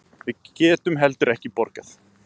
Við getum heldur ekki borgað.